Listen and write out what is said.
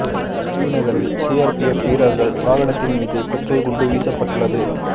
ஶ்ரீநகரில் CRPF வீரர்கள் வாகனத்தின் மீது பெட்ரோல் குண்டு வீசப்பட்டுள்ளது